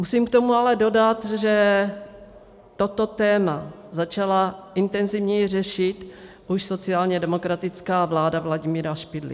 Musím k tomu ale dodat, že toto téma začala intenzivněji řešit už sociálně demokratická vláda Vladimíra Špidly.